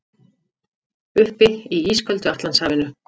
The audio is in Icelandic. Uppi í ísköldu Atlantshafinu.